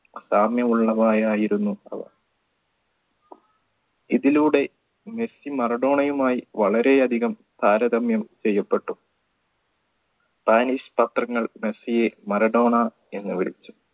സാമ്യമുള്ളവയായിരുന്നു അവ ഇതിലൂടെ മെസ്സി മറഡോണയുമായി വളരെയധികം താരതമ്യം ചെയ്യപ്പെട്ടു spanish പത്രങ്ങൾ മെസ്സിയെ മറഡോണ എന്ന് വിളിച്ചു